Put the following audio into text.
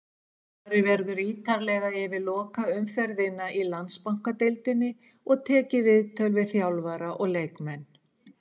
Farið verður ítarlega yfir lokaumferðina í Landsbankadeildinni og tekið viðtöl við þjálfara og leikmenn.